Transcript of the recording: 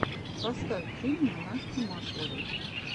поставь фильмы насти масловой